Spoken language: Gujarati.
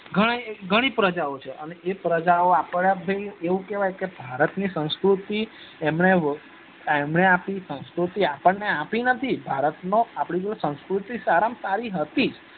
ઘણા એ ઘણી એ પ્રજા ઓં છે અને એ પ્રજા આપડે ભાઈ એવું કેવાય કે ભારત ની સંસ્કૃતિ એમને એમને આપી સાંસ્કુતિ એમને આપણે આપી નથી ભારત નો આપડી જોડે સંસ્કૃતિ સારા માં સારી હતી જ